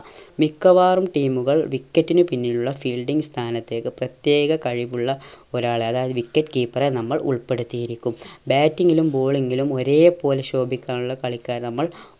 മിക്കവാറും team കൾ wicket നു പിന്നിലുള്ള fielding സ്ഥാനത്തേക്ക് പ്രത്യേക കഴിവുള്ള ഒരാളെ അതായത് wicket keeper എ നമ്മൾ ഉൾപ്പെടുത്തിയിരിക്കും batting ലും bowling ലും ഒരേ പോലെ ശോഭിക്കാനുള്ള കളിക്കാരെ നമ്മൾ